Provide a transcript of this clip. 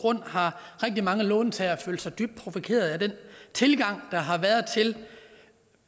grund har rigtig mange låntagere følt sig dybt provokeret af den tilgang der har været til